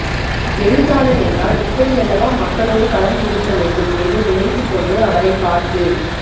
எழுத்தாளர் என்றால் இப்படியல்லவா மக்களோடு கலந்து இருக்க வேண்டும் என்று நினைத்து கொண்டு அவரை பார்த்து